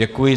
Děkuji.